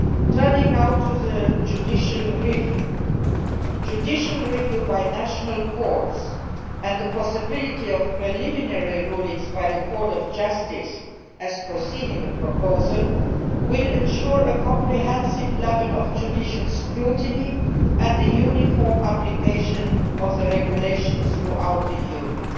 Turning now to the judicial review, judicial review by national courts and the possibility of preliminary rulings by the Court of Justice, as foreseen in the proposal, will ensure a comprehensive level of judicial scrutiny and uniform application of the regulation throughout the Union.